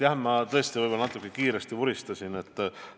Jah, ma tõesti võib-olla natuke kiiresti vuristasin vastates.